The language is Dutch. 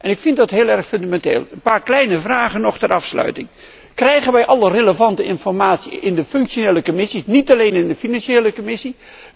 Ik vind dat heel erg fundamenteel. Een paar kleine vragen ter afsluiting krijgen wij alle relevante informatie in de functionele commissies en niet alleen in de financiële commissie?